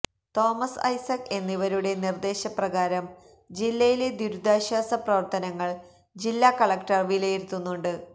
Thomas Isaac എന്നിവരുടെ നിര്ദേശപ്രകാരം ജില്ലയിലെ ദുരിതാശ്വാസ പ്രവര്ത്തനങ്ങള് ജില്ല കളക്ടര് വിലയിരുത്തുന്നുണ്ട്